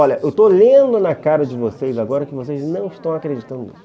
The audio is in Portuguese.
Olha, eu estou lendo na cara de vocês agora que vocês não estão acreditando nisso.